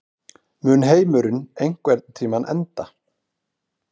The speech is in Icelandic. Mun heimurinn einhvern tímann enda?